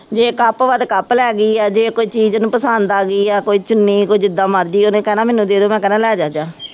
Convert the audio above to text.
ਜੇ ਕੱਪ ਵਾ ਤਾਂ ਕੱਪ ਲੈ ਗਈ ਹੈ, ਜੇ ਕੋਈ ਚੀਜ਼ ਉਹਨੂੰ ਪਸੰਦ ਆ ਗਈ ਜਾਂ ਕੋਈ ਚੁੰਨੀ ਕੋਈ ਜਿਦਾਂ ਮਰਜ਼ੀ ਉਹਨੇ ਕਹਿਣਾ ਮੈਨੂੰ ਦੇ ਦਿਉ, ਮੈਂ ਕਹਿਣਾ ਲੈ ਜਾ